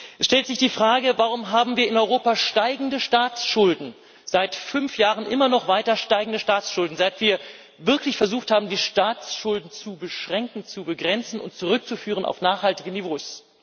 Es stellt sich die Frage Warum haben wir in Europa steigende Staatsschulden, seit fünf Jahren immer noch weiter steigende Staatsschulden, seit wir wirklich versucht haben, die Staatsschulden zu beschränken, zu begrenzen und zurückzuführen auf nachhaltige Niveaus?